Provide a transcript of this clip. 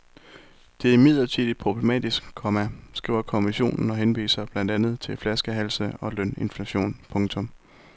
Det er imidlertid problematisk, komma skriver kommissionen og henviser blandt andet til flaskehalse og løninflation. punktum